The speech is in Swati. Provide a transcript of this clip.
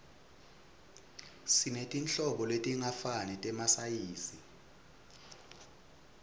sinetinhlobo letingafani temasayizi